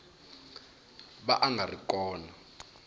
va a nga ri kona